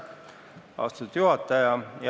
Austatud juhataja!